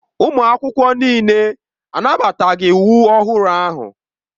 Ụmụ akwụkwọ niile anabataghị iwu ọhụrụ ahụ.